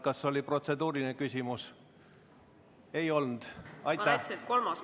Kas oli protseduuriline küsimus?